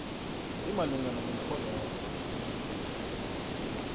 imalungana nomrholwakho we